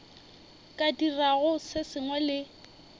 ka dirago se sengwe le